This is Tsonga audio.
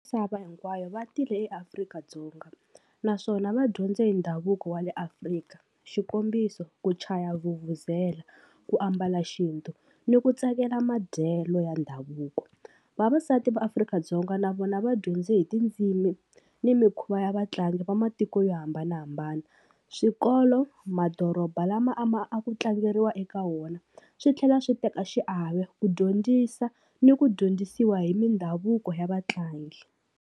Misava hinkwayo va tile eAfrika-Dzonga, naswona va dyondze hi ndhavuko wa le Afrika, xikombiso ku chaya vuvuzela, ku ambala xintu ni ku tsakela madyelo ya ndhavuko. Vavasati va Afrika-Dzonga na vona va dyondze hi tindzimi ni mikhuva ya vatlangi va matiko yo hambanahambana. Swikolo madoroba lama a ma a ku tlangeriwa eka wona swi tlhela swi teka xiave ku dyondzisa ni ku dyondzisiwa hi mindhavuko ya vatlangi.